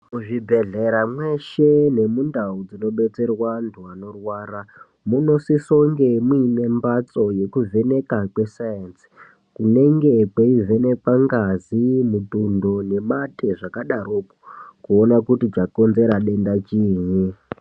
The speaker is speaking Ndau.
Muzvibhedhlera mweshe nemundau dzinobetserwe antu anorwara munosisonge mune mbatso yekuvheneka kweScience kunenge kweivhenekwa ngazi, mutundo nemate zvakadaropo kuona kuti chakonzera denda chinyi.